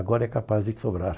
Agora é capaz de sobrar.